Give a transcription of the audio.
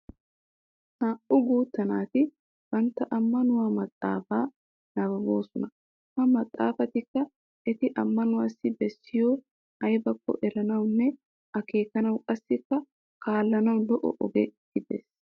Naa"u guutta naati bantta ammanuwa maxxaafaa nabbaboosona. Ha maxxaafayikka eti ammanuwaassi baasoy ayibakko eranawunne akeekanawu qassikka kaallanawu lo"o oge gides.